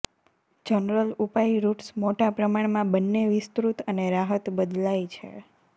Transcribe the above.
general ઉપાય roots મોટા પ્રમાણમાં બંને વિસ્તૃત અને રાહત બદલાય છે